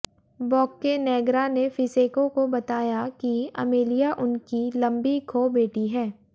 Boccanegra ने Fiesco को बताया कि अमेलिया उनकी लंबी खो बेटी है